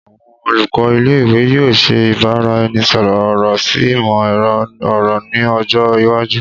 Awọn olukọ ile-iwe yoo ṣe ibaraẹnisọrọ ọrọ si imọ-ẹrọ ọrọ ni ọjọ iwaju